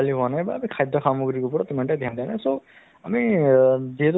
অলপ যাতে মানে চকু দিয়ক এইটো ক্ষেত্ৰত নহয় জানো